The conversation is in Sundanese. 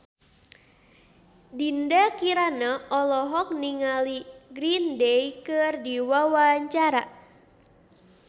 Dinda Kirana olohok ningali Green Day keur diwawancara